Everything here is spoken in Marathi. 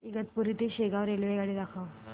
इगतपुरी ते शेगाव रेल्वेगाडी दाखव